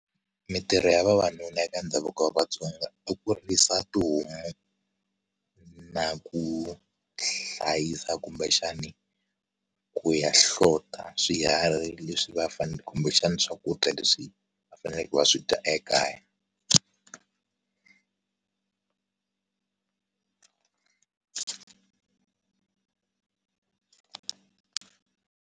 Mintirho ya vavanuna eka ndhavuko wa vatsonga i ku risa tihomu na ku hlayisa kumbexani ku ya hlota swiharhi leswi va fanele kumbexana swakudya leswi a faneleke ku va swidya ekaya.